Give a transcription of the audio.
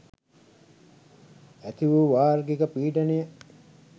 ඇතිවූ වාර්ගික පීඩනය